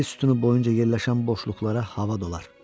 Bel sütunu boyunca yerləşən boşluqlara hava dolar.